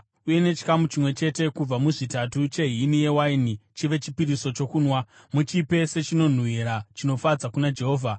uye nechikamu chimwe chete kubva muzvitatu chehini yewaini chive chipiriso chokunwa. Muchipe sechinonhuhwira chinofadza kuna Jehovha.